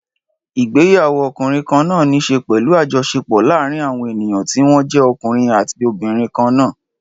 Ìgbéyàwó ọkùnrin kan náà ní í ṣe pẹ̀lú àjọṣepọ̀ láàárín àwọn ènìyàn tí wọ́n jẹ́ ọkùnrin àti obìnrin kan náà.